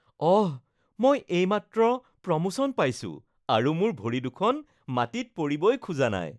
অহ, মই এইমাত্ৰ প্ৰমোচন পাইছো, আৰু মোৰ ভৰিদুখন মাটিত পৰিবই খোজা নাই